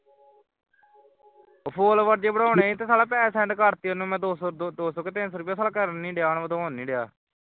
follower ਜ਼ਹੇ ਬਣਾਇਆ ਸੀ ਤੇ ਸਾਲਿਆ ਪੈਸੇ send ਕਾਰ ਤੇ ਉਨੂੰ ਮੈਂ ਦੋ ਸੌ ਦੋ ਸੌ ਕੇ ਤਿੰਨ ਸੌ ਉਸ ਨੂੰ ਹੁਣ ਕਾਰਨ ਨਹੀਂ ਡਿਆ ਵਦਾਉਂਣ ਨਹੀਂ ਡਿਆ